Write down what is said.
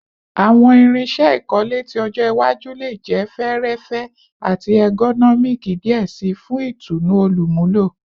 Awọn irinṣẹ ikole ti ọjọ iwaju le jẹ fẹẹrẹfẹ ati ergonomic diẹ sii fun itunu olumulo